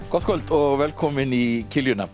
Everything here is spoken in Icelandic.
gott kvöld og velkomin í